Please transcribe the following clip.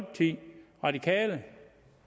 de radikale